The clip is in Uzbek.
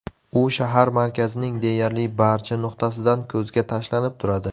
U shahar markazining deyarli barcha nuqtasidan ko‘zga tashlanib turadi.